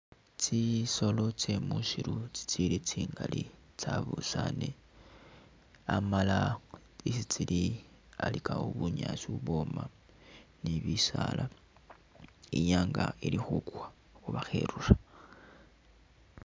Tsisolo tsye musiiru tsitsili tsingali, tsyabusaane amala isi tsili alikawo bunyaasi ubwoma ni bisaala, I'nyaanga ili khukwa oba kherura.